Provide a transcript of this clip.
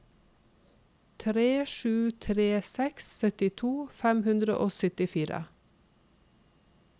tre sju tre seks syttito fem hundre og syttifire